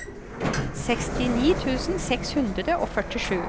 sekstini tusen seks hundre og førtisju